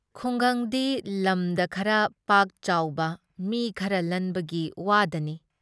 ꯈꯨꯡꯒꯪꯒꯤ ꯂꯝꯗ ꯈꯔ ꯄꯥꯛꯆꯥꯎꯕ ꯃꯤ ꯈꯔ ꯂꯟꯕꯒꯤ ꯋꯥꯗꯅꯤ" ꯫